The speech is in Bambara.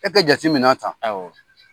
E ka jate minɛ a kan, awɔ.